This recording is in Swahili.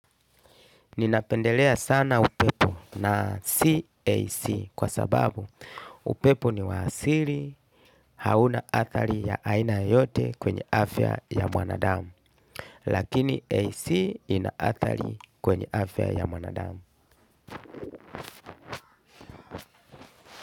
Ninapendelea sana upepo na sio AC kwa sababu upepo niwa asili hauna athari ya aina yoyote kwenye afya ya mwanadamu. Lakini AC ina athari kwenye afya ya mwanadamu.